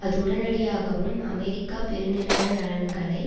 அது உடனடியாகவும் அமெரிக்க பெருநிறுவன நலன்களை